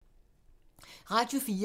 Radio 4